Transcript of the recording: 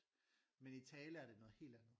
Men i tale er det noget helt andet